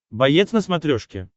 боец на смотрешке